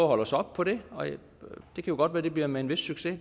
holde os op på det og det kan jo godt være at det bliver med en vis succes det